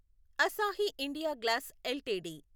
Asahi India glass LTD